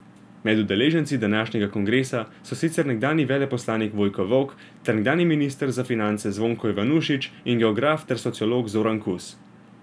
Med udeleženci današnjega kongresa so sicer nekdanji veleposlanik Vojko Volk ter nekdanji minister za finance Zvonko Ivanušič in geograf ter sociolog Zoran Kus.